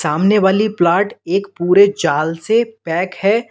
सामने वाली प्लाट एक पूरे जाल से पैक है।